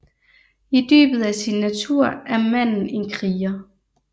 I dybet af sin natur er manden en kriger